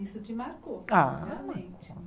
Isso te marcou, Ah realmente.